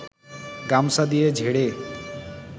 গামছা দিয়ে ঝেড়ে